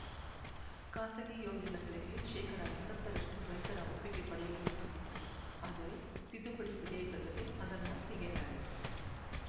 ಖಾಸಗಿ ಯೋಜನೆಗಳಿಗೆ ಶೇಕಡಾ ಎಂಬತ್ತರಷ್ಟು ರೈತರ ಒಪ್ಪಿಗೆ ಪಡೆಯಬೇಕಾಗಿತ್ತು ಆದರೆ ತಿದ್ದುಪಡಿ ವಿಧೇಯಕದಲ್ಲಿ ಅದನ್ನು ತೆಗೆಯಲಾಗಿದೆ